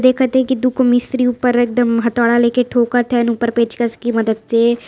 देखत है कि दुगो मिस्त्री ऊपर एकदम हथोड़ा लेके ठोकत हैन ऊपर पेचकस की मदद से।